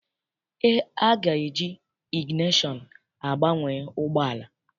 A ga-eji igineshọn gbanye ụgbọala.